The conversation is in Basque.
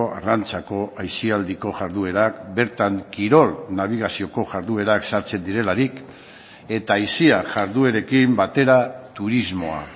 arrantzako aisialdiko jarduerak bertan kirol nabigazioko jarduerak sartzen direlarik eta aisia jarduerekin batera turismoa